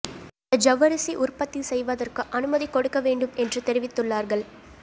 அந்த ஜவ்வரிசி உற்பத்தி செய்வதற்கு அனுமதி கொடுக்க வேண்டும் என்று தெரிவித்துள்ளார்கள்